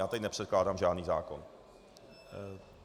Já tady nepředkládám žádný zákon.